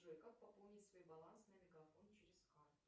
джой как пополнить свой баланс на мегафон через карту